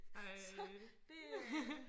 Så det er